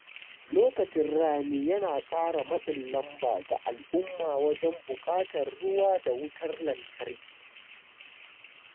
Lokacin rani yana ƙara matsin lamba ga al'umma wajen buƙatar ruwa da wutar lantarki.